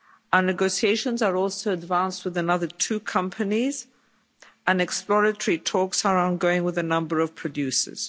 Our negotiations are also advanced with another two companies and exploratory talks are ongoing with a number of producers.